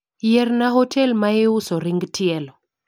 Yierna hotel maiuso ring tielo